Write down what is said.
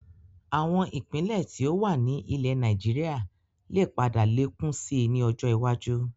Àwọn Ìpínlẹ̀ tí ó wà ní ilẹ̀ Nàìjíríà lè padà lékún síí ni ọjọ́ iwájú